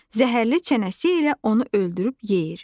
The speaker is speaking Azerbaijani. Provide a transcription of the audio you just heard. Zəhərli çənəsi ilə onu öldürüb yeyir.